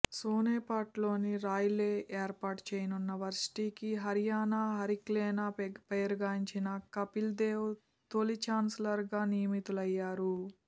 సోనేపట్లోని రాయ్లో ఏర్పాటు చేయనున్న వర్సిటీకి హరియాణా హరికేన్గా పేరుగాంచిన కపిల్దేవ్ తొలి ఛాన్సలర్గా నియమితులయ్యారు